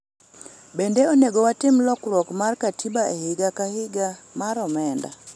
bende onego watim lokruok mar katiba e higa ka higa mar omenda